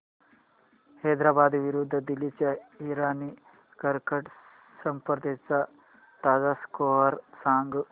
हैदराबाद विरुद्ध दिल्ली च्या इराणी करंडक स्पर्धेचा ताजा स्कोअर सांगा